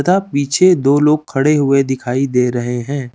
तथा पीछे दो लोग खड़े हुए दिखाई दे रहे हैं।